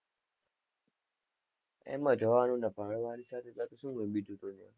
એમ જ હોવાનું ને ભણવાની સાથે-સાથે શું હોય બીજું